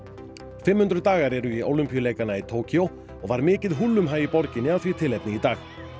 fimm hundruð dagar eru í Ólympíuleikana í Tókýó og var mikið húllumhæ af því tilefni í dag